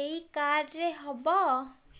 ଏଇ କାର୍ଡ ରେ ହବ